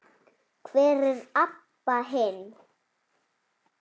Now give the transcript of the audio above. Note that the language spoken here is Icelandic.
Hvar er Abba hin?